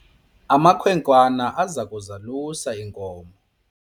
amakhwenkwana aza kuzalusa iinkomo